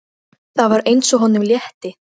Það var eins og honum létti.